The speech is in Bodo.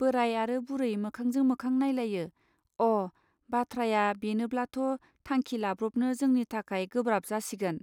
बोराय आरो बुरै मोखांजां मोखां नायलायो अः बाथ्राया बेनोब्लाथ' थांखि लाब्रबनो जोंनि थाखाय गोब्राब जासिगोन.